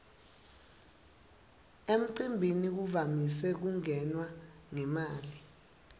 emcimbini kuvamise kungenwa ngemali